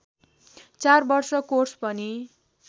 चार वर्ष कोर्स पनि